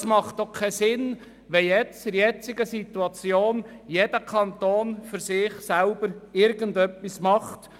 Es hat auch keinen Sinn, wenn in der derzeitigen Situation jeder Kanton für sich selber irgendetwas tut.